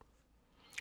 DR2